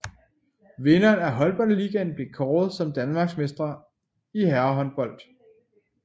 Vinderen af Håndboldligaen bliver kåret som danmarksmestre i herrehåndbold